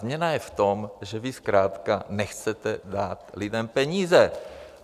Změna je v tom, že vy zkrátka nechcete dát lidem peníze!